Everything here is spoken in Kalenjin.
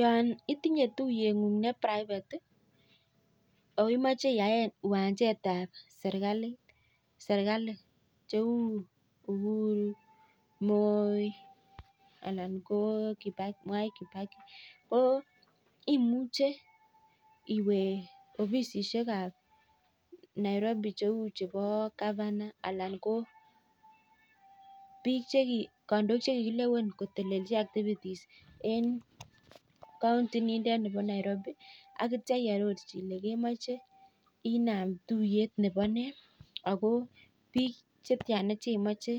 Yon itinye tuiyeng'ung netai kot akoimache iyae kiwanjetab serkali cheu , Uhuru, Moi, ana Mwai kibaki. Ko imuche iwe ofisisiek ab nairobi cheu chebo Govana, anan ko biik, kandoik che kikilewen kotelechi activities en counti nindok nebo Nairobi aneitio iarochi ile kemache inaam tuiyet nebo nee ,ako biik chetia chemoche